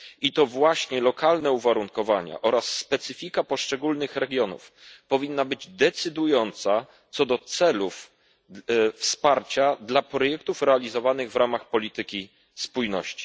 I to właśnie lokalne uwarunkowania oraz specyfika poszczególnych regionów powinny być decydujące co do celów wsparcia dla projektów realizowanych w ramach polityki spójności.